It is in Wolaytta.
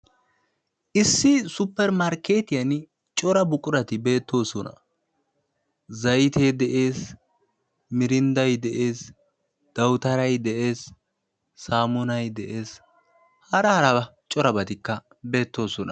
Issi suppermarkketiyaan cora buqurati beettoosona, zaytte de'ees, mirindday de'ees, dawutaray de'ees hara harabati corabatikka beettoosona.